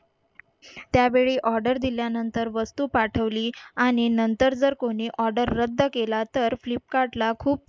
त्यावेळी order दिल्यानंतर वस्तू पाठवली आणि नंतर जर कोणी order केला तर flipkart ला खूप